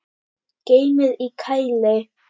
Geymið í kæli.